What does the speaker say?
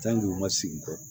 u ma sigi kɔ